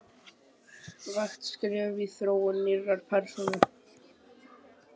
vægt skref í þróun nýrrar persónu.